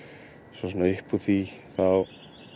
svo svona upp úr því þá